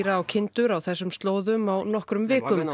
á kindur á þessum slóðum á nokkrum vikum í